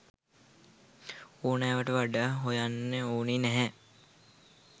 ඕනෑවට වඩා හොයන්න ඕන නැහැ